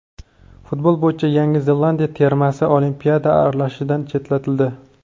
Futbol bo‘yicha Yangi Zelandiya termasi Olimpiada saralashidan chetlatildi.